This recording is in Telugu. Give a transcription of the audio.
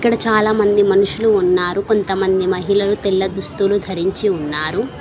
ఇక్కడ చాలామంది మనుషులు ఉన్నారు కొంతమంది మహిళలు తెల్ల దుస్తులు ధరించి ఉన్నారు.